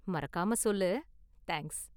மறக்காம சொல்லு. தேங்க்ஸ்.